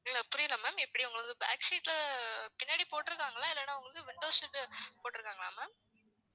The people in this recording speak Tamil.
இல்ல புரியல ma'am எப்படி, உங்களுக்கு back seat பின்னாடி போட்டுருக்காங்களா இல்லன்னா உங்களுக்கு window seat போட்டுருக்காங்களா ma'am